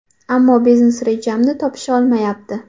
Ammo biznes rejamni topisholmayapti.